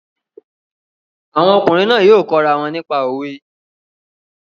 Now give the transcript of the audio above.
Àwọn ọkùnrin náà yóò kọ́ ra wọn nípa òwe